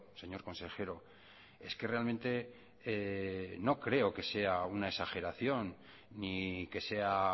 señor consejero es que realmente no creo que sea una exageración ni que sea